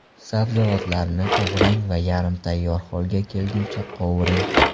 Sabzavotlarni to‘g‘rang va yarim tayyor holga kelguncha qovuring.